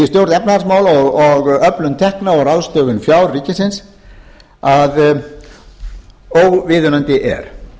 efnahagsmála og öflun tekna og ráðstöfun fjár ríkisins að óviðunandi er